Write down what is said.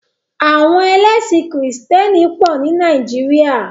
Àwọn ẹlẹ́sìn krìstẹ́nì pọ̀ ní Nàìjíríà.